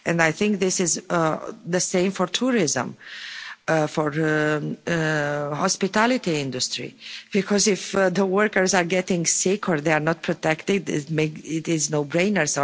And I think this is the same for tourism and for the hospitality industry, because if the workers are getting sick or if they are not protected, it makes it a no brainer.